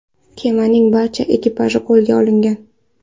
Kemaning barcha ekipaji qo‘lga olingan.